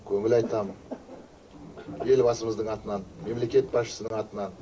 көңіл айтам елбасымыздың атынан мемлекет басшысының атынан